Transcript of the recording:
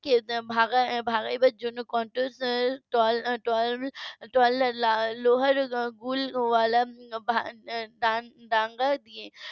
কে ভাগাবার জন্য . লোহার গুলি ওয়ালা দাঙ্গা দিয়ে